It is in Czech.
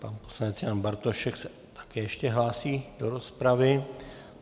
Pan poslanec Jan Bartošek se také ještě hlásí do rozpravy.